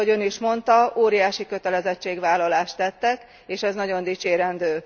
Mint ahogy Ön is mondta, óriási kötelezettségvállalást tettek és ez nagyon dicsérendő.